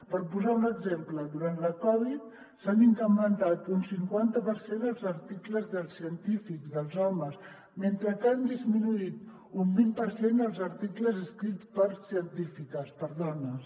per posar·ne un exemple durant la covid s’han incrementat un cinquan·ta per cent els articles dels científics dels homes mentre que han disminuït un vint per cent els articles escrits per científiques per dones